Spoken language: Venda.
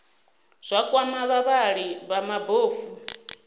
zwa kwama vhavhali vha mabofu